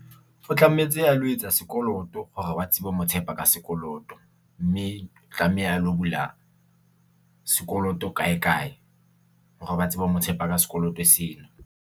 O tlametse a lo etsa sekoloto hore ba tsebe ho mo tshepa ka sekoloto mme o tlameha a lo bula sekoloto kae, kae hore ba tsebe ho mo tshepa ka sekoloto sena.